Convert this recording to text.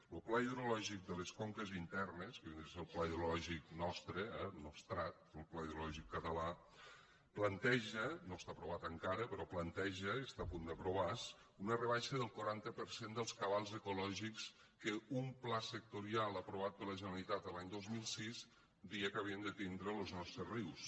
lo pla hidrològic de les conques internes que és el pla hidrològic nostre eh el nostrat el pla hidrològic català planteja no està aprovat encara però planteja i està a punt d’aprovar se una rebaixa del quaranta per cent dels cabals ecològics que un pla sectorial aprovat per la generalitat l’any dos mil sis deia que havien de tindre los nostres rius